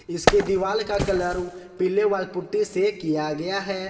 इसके दीवाल का कलर पीले वॉल पुट्टी से किया गया है।